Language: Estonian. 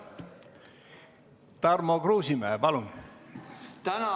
Tarmo Kruusimäe, palun!